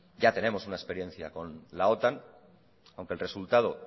ya tenemos una experiencia con la otan aunque el resultado